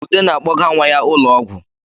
Ude na-akpọga nwa ya ụlọ ọgwụ